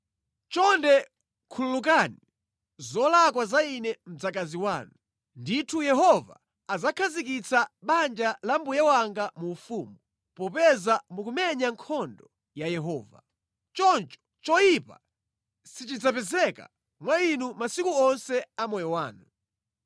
Chonde khululukani zolakwa za ine mdzakazi wanu. Ndithu Yehova adzakhazikitsa banja la mbuye wanga mu ufumu, popeza mukumenya nkhondo ya Yehova. Choncho choyipa sichidzapezeka mwa inu masiku onse a moyo wanu.